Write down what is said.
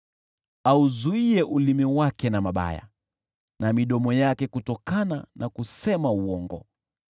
basi auzuie ulimi wake na mabaya, na midomo yake kutokana na kusema uongo.